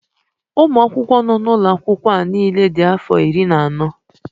Ụmụ akwụkwọ nọ n'ụlọ akwụkwọ a niile dị afọ iri na anọ.